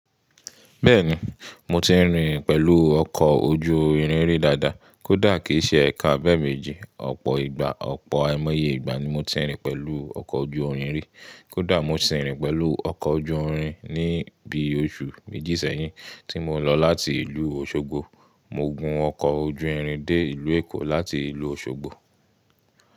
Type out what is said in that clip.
Bẹ́ẹ̀ni, mo ti ń rìn pẹ̀lú ọkọ̀ ojú irin rí dáadáa. Kódà kìí ṣe ẹ̀kan abẹ́eméjì. Ọ̀pọ̀ ìgbà, ọ̀pọ̀ ẹmọye ìgbà ni mo ti ń rìn pẹ̀lú ọkọ̀ ojú irin rí. Kódà mo sì ń rìn pẹ̀lú ọkọ̀ ojú irin ní bí osù méjì sẹ́yìn tí mo ń lọ láti ìlú Òṣogbo. Mo gun ọkọ̀ ojú irin dé ìlú Èkó láti ìlú Òṣogbo.